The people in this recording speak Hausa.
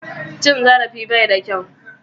Cin zarafi bai da kyau